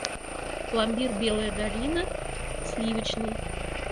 пломбир белая долина сливочный